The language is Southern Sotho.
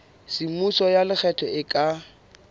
semmuso ya lekgetho e ka